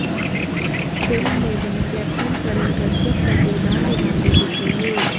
film में वह captain Karan Kashyap का किरदार निभाते दिखेंगे